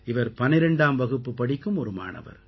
இவர் 12ஆம் வகுப்பு படிக்கும் ஒரு மாணவர்